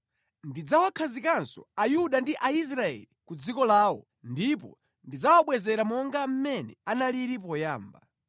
Ndidzawakhazikanso Ayuda ndi Aisraeli ku dziko lawo, ndipo ndidzawabwezera monga mmene analili poyamba.